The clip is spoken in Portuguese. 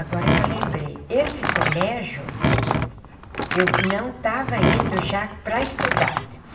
Agora que eu lembrei, esse colégio, eu não estava indo já para estudar.